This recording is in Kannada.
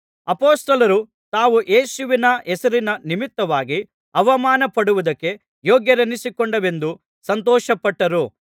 ಅಪೊಸ್ತಲರು ತಾವು ಯೇಸುವಿನ ಹೆಸರಿನ ನಿಮಿತ್ತವಾಗಿ ಅವಮಾನಪಡುವುದಕ್ಕೆ ಯೋಗ್ಯರೆನಿಸಿಕೊಂಡೆವೆಂದು ಸಂತೋಷಪಟ್ಟರು